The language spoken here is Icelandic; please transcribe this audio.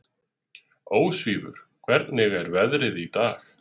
Ósvífur, hvernig er veðrið í dag?